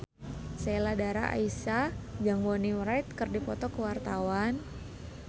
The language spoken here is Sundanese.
Sheila Dara Aisha jeung Bonnie Wright keur dipoto ku wartawan